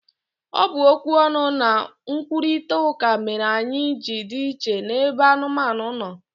Ọ bụ okwu ọnụ na nkwurịta ụka mere anyị ji dị iche n'ebe anụmanụ no